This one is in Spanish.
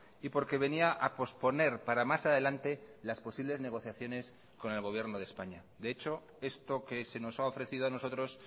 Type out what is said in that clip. y porque venía a posponer para más adelante las posibles negociaciones con el gobierno de españa de hecho esto que se nos ha ofrecido a nosotros